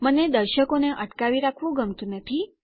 મને દર્શકોને અટકાવી રાખવું ગમતું નથી